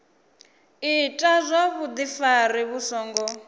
ita zwa vhudifari vhu songo